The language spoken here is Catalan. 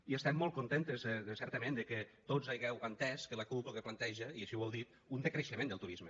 i estem molt contentes certament de que tots hàgiu entès que la cup lo que planteja i així ho heu dit és un decreixement del turisme